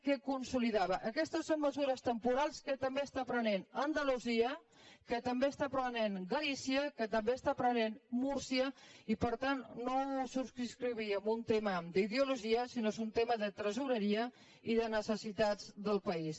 què consolidava aquestes mesures temporals que també està prenent andalusia que tam·bé està prenent galícia que també està prenent múrcia i per tant no ho subscrigui en un tema d’ideologia si·nó que és un tema de tresoreria i de necessitats del país